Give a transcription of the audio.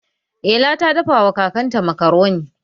Ela ta dafa wa kakanta makaroni.